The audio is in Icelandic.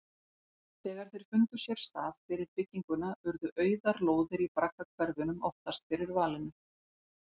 Þegar þeir fundu sér stað fyrir bygginguna urðu auðar lóðir í braggahverfunum oftast fyrir valinu.